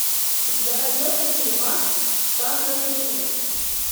у тебя найдется фильмас жанра триллер